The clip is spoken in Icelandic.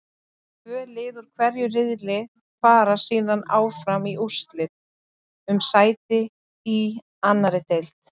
Tvö lið úr hverju riðli fara síðan áfram í úrslitakeppni um sæti í annarri deild.